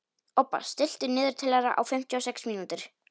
Obba, stilltu niðurteljara á fimmtíu og sex mínútur.